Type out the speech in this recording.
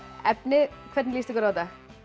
efni hvernig líst ykkur á þetta